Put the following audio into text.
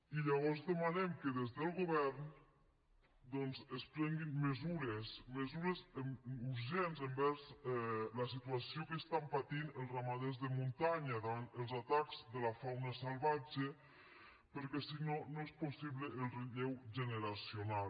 i llavors demanem que des del govern doncs es prenguin mesures mesures urgents envers la situació que estan patint els ramaders de muntanya davant els atacs de la fauna salvatge perquè si no no és possible el relleu generacional